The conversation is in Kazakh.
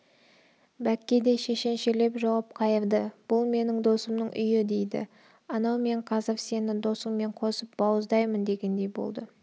бәкке де шешеншелеп жауап қайырды бұл менің досымның үйі дейді анау мен қазір сені досыңмен қосып бауыздаймын дегендей болды